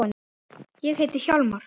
Ég heiti Hjálmar